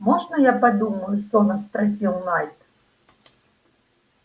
можно я подумаю сонно спросил найд